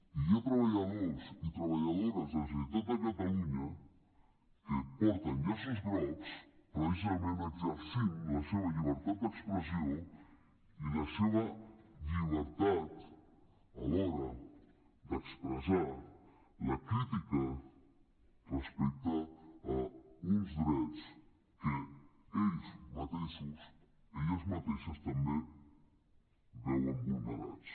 i hi ha treballadors i treballadores de la generalitat de catalunya que porten llaços grocs precisament exercint la seva llibertat d’expressió i la seva llibertat alhora d’expressar la crítica respecte a uns drets que ells mateixos elles mateixes també veuen vulnerats